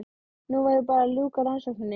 Nú væri bara að ljúka rannsókninni.